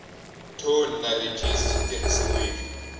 thoni na rhejisi swi tirhisiwile